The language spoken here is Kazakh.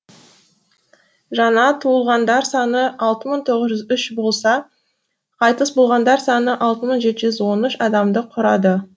жаңа туылғандар саны алты мың тоғыз жүз үш болса қайтыс болғандар саны алты мың жеті жүз он үш адамды құрады